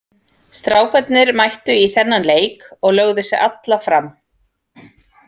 Strákarnir mættu í þennan leik og lögðu sig alla fram.